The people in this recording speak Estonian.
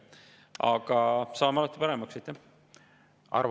Aga saame alati paremaks.